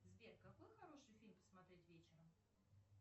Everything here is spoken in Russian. сбер какой хороший фильм посмотреть вечером